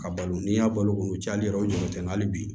Ka balo n'i y'a balo kun cayali yɔrɔ tɛ hali bi